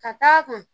Ka d'a kan